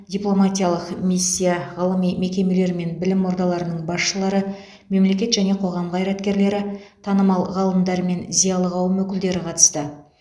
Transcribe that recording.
дипломатиялық миссия ғылыми мекемелер мен білім ордаларының басшылары мемлекет және қоғам қайраткерлері танымал ғалымдар мен зиялы қауым өкілдері қатысты